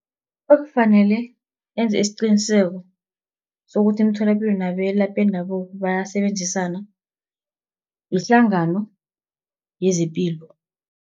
Ekufanele enze isiqiniseko sokuthi imitholapilo nabelaphi bendabuko bayasebenzisana yihlangano yezepilo.